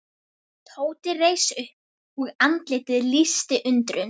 Tóti reis upp og andlitið lýsti undrun.